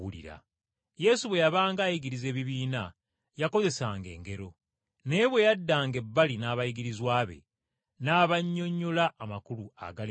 Yesu bwe yabanga ayigiriza ebibiina yakozesanga engero, naye bwe yaddanga ebbali n’abayigirizwa be n’abannyonnyola amakulu agali mu ngero ezo.